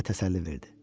özünə təsəlli verdi.